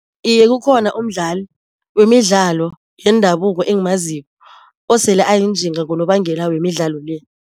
Iye kukhona umdlali wemidlalo yendabuko engimaziko osele ayinjinga ngonobangela wemidlalo le.